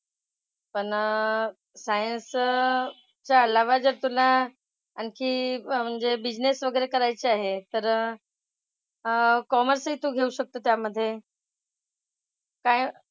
पण अह सायन्सच्या अलावा जर तुला आणखी म्हणजे बिझनेस वगैरे करायचा आहे तर अह कॉमर्सही तू घेऊ शकतोस त्यामधे. काय,